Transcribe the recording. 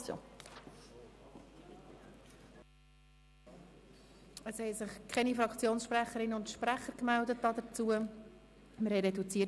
Es haben sich keine Fraktionssprecherinnen und -sprecher dazu gemeldet.